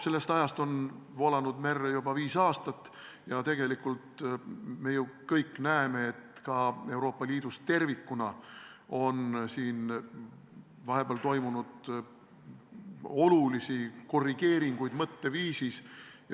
Sellest ajast on vett merre juba viis aastat voolanud ja tegelikult me ju kõik näeme, et ka Euroopa Liidus tervikuna on vahepeal mõtteviisis olulisi korrigeeringuid toimunud.